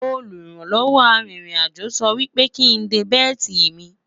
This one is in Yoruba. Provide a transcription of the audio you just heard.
olùrànlọ́wọ́ àrin rìn àjọ sò wípé kín dé belti mí